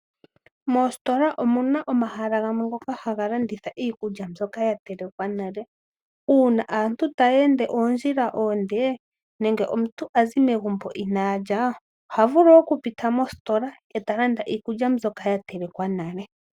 Moositola omuna omahala gamwe ngoka haga landitha iikulya mbyoka ya telekwa nale. Uuna aantu taya ende oondjila oonde nenge omuntu azi megumbo inaalya, ohavulu okupita mositola eta landa iikulya mbyoka ya telekwa nale.